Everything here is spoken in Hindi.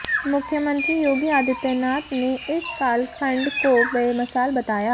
मुख्यमंत्री योगी आदित्यनाथ ने इस कालखंड को बेमिसाल बताया